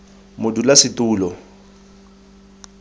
modulasetulo